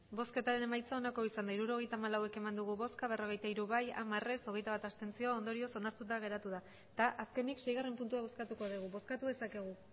emandako botoak hirurogeita hamalau bai berrogeita hiru ez hamar abstentzioak hogeita bat ondorioz onartuta geratu da eta azkenik seigarrena puntua bozkatuko dugu bozkatu dezakegu